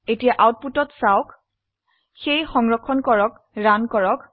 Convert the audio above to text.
এতিয়া আউটপুটত চাওক সেয়ে সংৰক্ষণ কৰে ৰান কৰক